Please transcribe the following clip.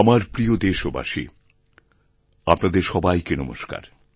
আমার প্রিয় দেশবাসী আপনাদের সবাইকে নমস্কার